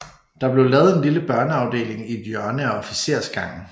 Der blev lavet en lille børneafdeling i et hjørne af officersgangen